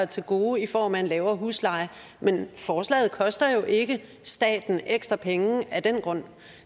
til gode i form af en lavere husleje men forslaget koster jo ikke staten ekstra penge af den grund